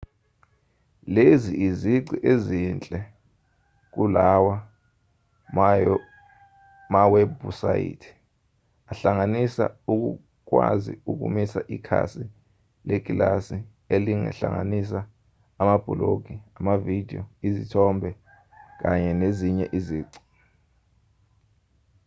lezi izici ezinhle kulawa mawebhusayithi ahlanganisa ukukwazi ukumisa ikhasi lekilasi elingahlanganisa amabhulogi amavidiyo izithombe kanye nezinye izici